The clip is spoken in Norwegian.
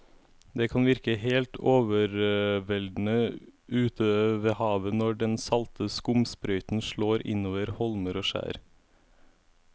Det kan virke helt overveldende ute ved havet når den salte skumsprøyten slår innover holmer og skjær.